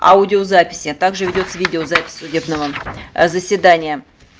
аудиозаписи а также ведётся видеозапись судебного заседания